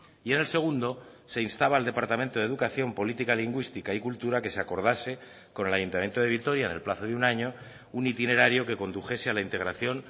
y en el segundo se instaba al departamento de educación política lingüística y cultura que se acordase con el ayuntamiento de vitoria en el plazo de un año un itinerario que condujese a la integración